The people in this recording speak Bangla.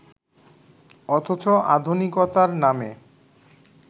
অথচ আধুনিকতার নামে